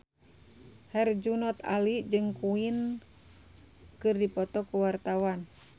Herjunot Ali jeung Queen keur dipoto ku wartawan